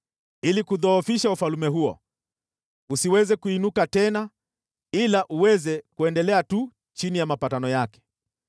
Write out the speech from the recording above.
ili kuudhoofisha ufalme huo, usiweze kuinuka tena, ila uweze kuendelea tu chini ya mapatano yake.